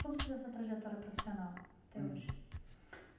Como se deu a sua trajetória profissional até hoje?